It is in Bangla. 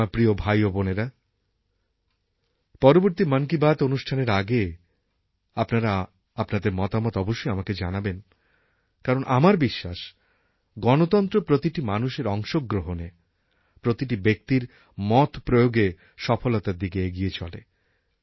আমার প্রিয় ভাই ও বোনেরা পরবর্তী মন কি বাত অনুষ্ঠানের আগে আপনারা আপনাদের মতামত অবশ্যই আমাকে জানান কারণ আমার বিশ্বাস গণতন্ত্র প্রতিটি মানুষের অংশগ্রহণে প্রতিটি ব্যক্তির মতপ্রয়োগে সফলতার দিকে এগিয়ে চলে